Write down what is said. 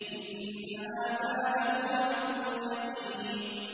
إِنَّ هَٰذَا لَهُوَ حَقُّ الْيَقِينِ